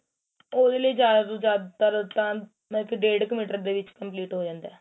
ਉਹਦੇ ਲਈ ਜਿਆਦਾ ਤੋਂ ਜਿਆਦਾ ਤਰ ਤਾਂ ਡੇਡ ਕ meter ਦੇ ਵਿੱਚ complete ਹੋ ਜਾਂਦਾ